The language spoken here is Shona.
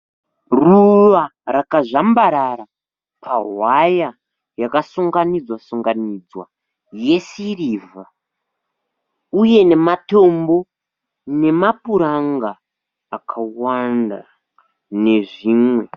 Ruva rakazvambarara pahwaya yakasunanganidzwa sunganidzwa yesirivha, uye nematombo, nemapuranga akawanda nezvimwe.